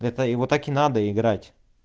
это его так и надо играть